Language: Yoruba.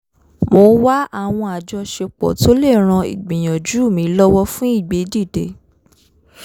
mò ń wá àwọn àjọṣepọ̀ tó lè ran ìgbìyànjú mi lọwọ fun ìgbédìde